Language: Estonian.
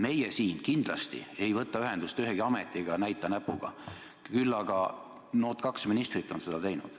Meie siin kindlasti ei võta ühendust ühegi ametiga, ei näita näpuga, küll aga nood kaks ministrit on seda teinud.